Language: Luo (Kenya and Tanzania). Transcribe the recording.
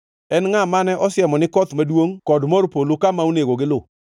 En ngʼa mane osiemo ni koth maduongʼ kod mor polo kama onego giluw,